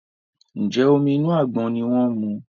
Njé Omi inú àgbọn ní wón mu?